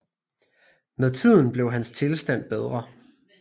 Med tiden blev hans tilstand bedre